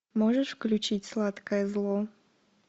можешь включить сладкое зло